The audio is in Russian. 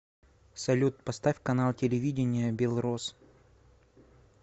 салют поставь канал телевидения белрос